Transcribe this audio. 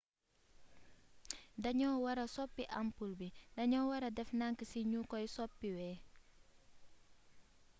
daño wara sopi ampul bi daño wara def dank si ñu koy soppiwee